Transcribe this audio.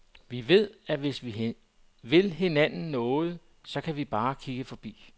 Vi ved, at hvis vi vil hinanden noget, så kan vi bare kigge forbi.